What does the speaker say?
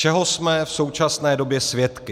Čeho jsme v současné době svědky?